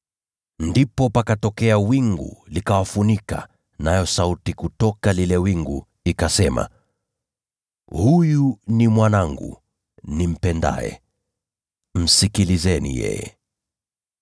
Ndipo pakatokea wingu, likawafunika, nayo sauti kutoka lile wingu ikasema, “Huyu ni Mwanangu mpendwa. Msikieni yeye.”